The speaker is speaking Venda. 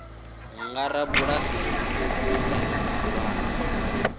nga rabulasi muṱuku kana muhulwane